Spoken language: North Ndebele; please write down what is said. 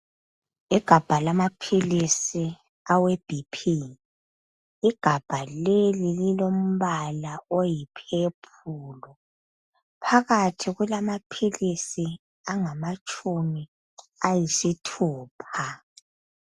Igabha lamaphilisi awe BP. Igabha leli lilombala oyiphephulu. Phakathi kulamaphilisi angamatshumi ayisithupha.